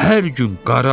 Hər gün qara,